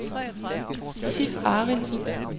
Sif Arildsen